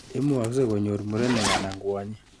Imukakse konyor murenik anan kwonyik.